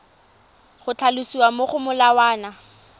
go tlhalosiwa mo go molawana